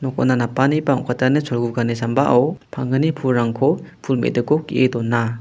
okona napani ba ong·katani cholgugani sambao panggni pulrangko pul me·diko ge·e dona.